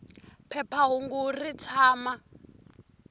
phepha hungu ri tshama